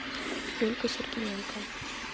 юлька сергиенко